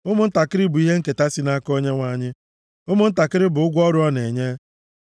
Ụmụntakịrị bụ ihe nketa si nʼaka Onyenwe anyị, ụmụntakịrị bụ ụgwọ ọrụ ọ na-enye.